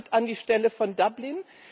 Was tritt an die Stelle von Dublin?